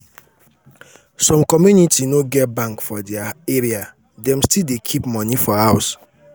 some community no get bank for their area dem still dey keep money for house.